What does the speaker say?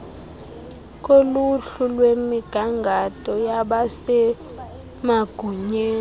koluhlu lwemigangatho yabasemagunyeni